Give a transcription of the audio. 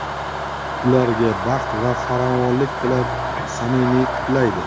Ularga baxt va farovonlik tilab, samimiy qutlaydi.